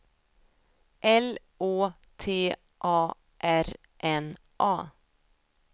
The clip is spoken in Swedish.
L Å T A R N A